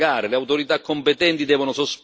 Inoltre, chi fa il furbo deve pagare.